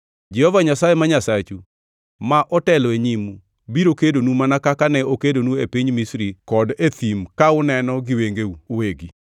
Jehova Nyasaye ma Nyasachu, ma otelo e nyimu, biro kedonu mana kaka ne okedonu e piny Misri kod e thim ka uneno gi wengeu uwegi.